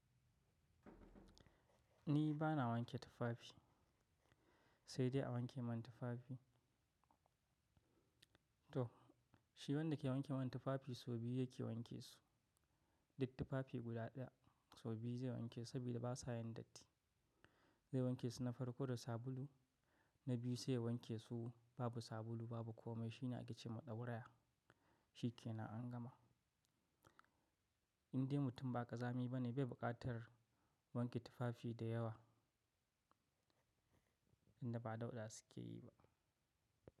Ni bana wanke tufafi, sai dai a wanke min tufafi. To shi wanda ke wanke min tufafi sau biyu yake wanke su. Duk tufafi guda daya sau biyu zai wanke saboda basa yin datti. Zai wanke su na farko da sabulu, na biyu sai ya wanke su babu sabulu babu komai. Shi na aike ce, maɗauraya shi ke na angama Indai mutum ba ƙazami bane bai buƙatar wanke tufafi da yawa inda ba daɗa suke yi ba.